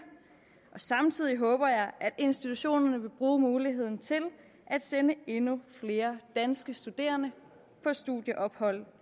og samtidig håber jeg at institutionerne vil bruge muligheden til at sende endnu flere danske studerende på studieophold